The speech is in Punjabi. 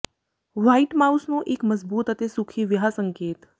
ਵ੍ਹਾਈਟ ਮਾਊਸ ਨੂੰ ਇੱਕ ਮਜ਼ਬੂਤ ਅਤੇ ਸੁਖੀ ਵਿਆਹ ਸੰਕੇਤ